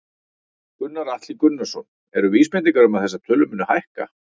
Gunnar Atli Gunnarsson: Eru vísbendingar um að þessar tölur muni hækka?